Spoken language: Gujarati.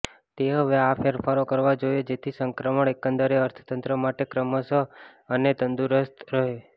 તે હવે આ ફેરફારો કરવા જોઈએ જેથી સંક્રમણ એકંદરે અર્થતંત્ર માટે ક્રમશઃ અને તંદુરસ્ત રહે